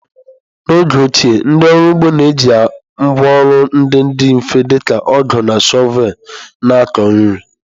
N’oge ochie, ndị ọrụ ugbo na-eji ngwá ọrụ ndị dị mfe dị ka ọgụ na shọvel na-akọ nri.